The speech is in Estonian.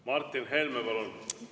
Martin Helme, palun!